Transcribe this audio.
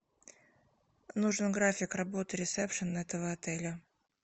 нужен график работы ресепшн этого отеля